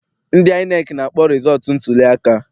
Ndị INEC na-akpọ rịzọọtụ ntuliaka.